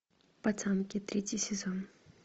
пацанки третий сезон